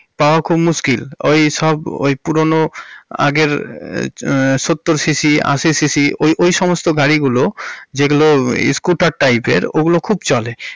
পাওয়া খুব মুশকিল। ওই সব ওই পুরোনো আগের হমম সত্তর সিঃসিঃ আশি সিঃসিঃ ওই~ ওই সমস্ত গাড়িগুলো যেগুলো স্কুটার টাইপের ওগুলো খুব চলে।